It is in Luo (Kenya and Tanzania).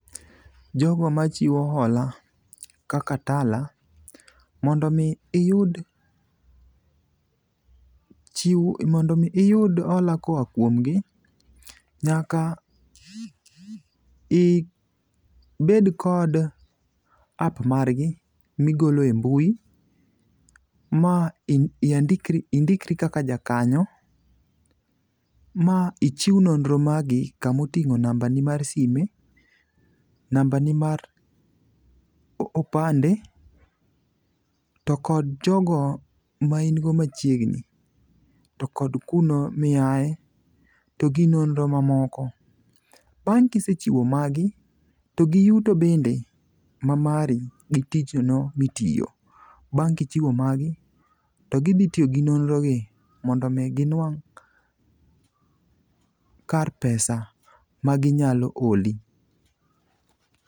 Jogo machiwo hola kaka Tala ,mondo omi iyud hola koa kuomgi, nyaka ibed kod app margi migolo e mbui, ma indikri kaka jakanyo, ma ichiw nonro magi kama oting'o nambani mar sime, nambani mar opande to kod jogo ma in go machiegni to kod kuno miaye, to gi nonro mamoko. Bang' kisechiwo magi, to giyuto bende ma mari gi tich ono ma itiyo, bang' kichiwo magi, to gidhi tiyo gi nonro gi mondo omi ginwang' kar pesa maginyalo holi.